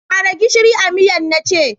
Kara gishiri a miyan na ce!